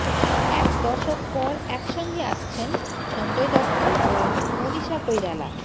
এক দশক পর একসঙ্গে আসছেন সঞ্জয় দত্ত ও মনীষা কৈরালা